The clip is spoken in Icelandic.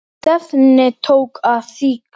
Stefnið tók að síga.